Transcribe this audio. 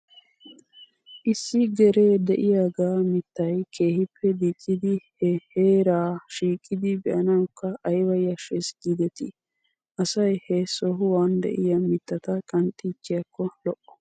Issi geree de'iyaaga mittay keehippe diccidi he heeraa shiiqidi be'anawkka ayba yashshes giidetii. Asay he sohuwan de'iyaa mittata qanxiichchiyaakko lo'o.